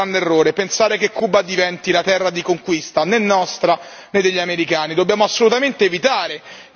Non dobbiamo però commettere un grande errore pensare che Cuba diventi la terra di conquista nostra o degli americani.